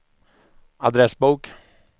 adressbok